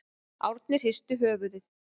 Árni hristi höfuðið.